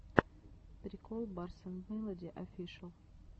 прикол барс энд мелоди офишэл